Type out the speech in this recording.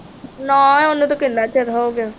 ਨਾ ਉਹਨੂੰ ਤਾਂ ਕਿੰਨਾ ਚਿਰ ਹੋ ਗਿਆ